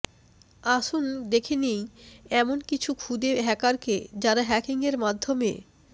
আসুন দেখে নি এমনি কিছু খুদে হ্যাকারকে যারা হ্যাকিং এর মাধ্যমে